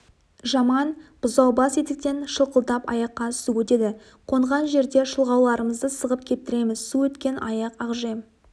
жаман бұзаубас етіктен шылқылдап аяққа су өтеді қонған жерде шұлғауларымызды сығып кептіреміз су өткен аяқ ақжем